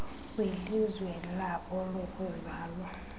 kwilizwe labo lokuzalwa